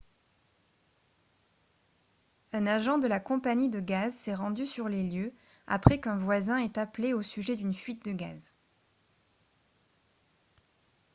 un agent de la compagnie de gaz s'est rendu sur les lieux après qu'un voisin ait appelé au sujet d'une fuite de gaz